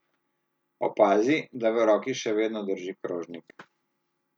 Opazi, da v roki še vedno drži krožnik.